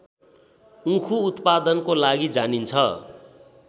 उखु उत्पादनको लागि जानिन्छ